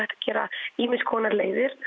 gera ýmiss konar leiðir